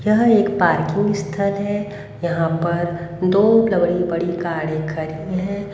यह एक पार्किंग स्थल है यहां पर दो बड़ी बड़ी गाड़ी खड़ी है।